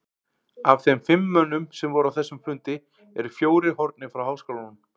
Af þeim fimm mönnum, sem voru á þessum fundi, eru fjórir horfnir frá háskólanum.